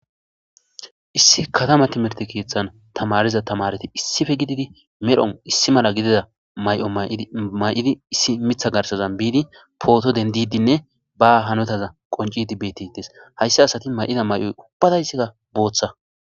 Issi katama tamirte keththan tamariza tamareti issippe gididi medhdhon issi Mela gidida Mayo mayiddi issi miththa garsan biddi potto dendidenne ba hannota qonccid bettetes ha asati mayida mayoy ubbatayisikka boththa.